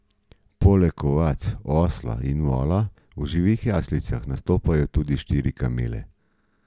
Poleg ovac, osla in vola v živih jaslicah nastopajo tudi štiri kamele.